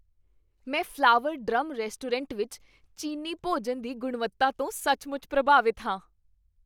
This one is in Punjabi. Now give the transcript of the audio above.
ਮੈਂ ਫ਼ਲਾਵਰ ਡਰੱਮ ਰੈਸਟੋਰੈਂਟ ਵਿੱਚ ਚੀਨੀ ਭੋਜਨ ਦੀ ਗੁਣਵੱਤਾ ਤੋਂ ਸੱਚਮੁੱਚ ਪ੍ਰਭਾਵਿਤ ਹਾਂ।